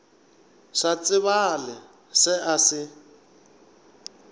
sa tsebale se a se